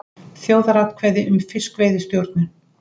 Þjóðaratkvæði um fiskveiðistjórnun